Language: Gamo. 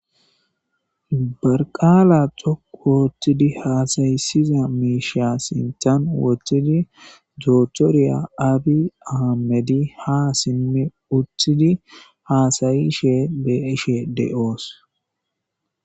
barqaala coku wooththidi haasayisiza miisha sintan woththidi doothoriya abi aamedi ha simmi uthidi haasayi she beeshe de7oos